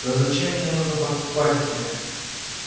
да зачем мне нужно подкупать тебя